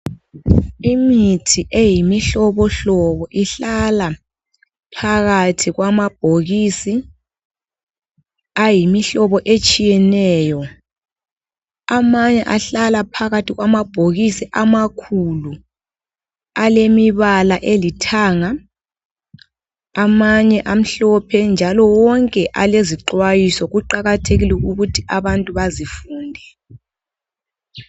Imithi eyimi hlobohlobo ihlala phakathi kwama bhokisi ayimi hlobo etshiyeneyo. Amanye ahlala phakathi kwama bhokisi amakhulu. Alemibala elithanga. Amanye amhlophe. Njalo wonke alezixhwayiso. Kuqakathekile ukuthi abantu bazifunde.